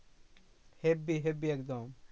Habby habby একদম